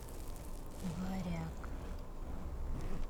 варяг